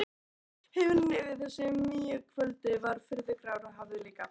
Himinninn yfir þessu maíkvöldi var furðu grár og hafið líka.